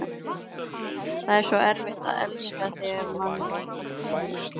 Það er svo erfitt að elska, þegar mann vantar peninga